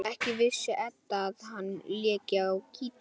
Ekki vissi Edda að hann léki á gítar.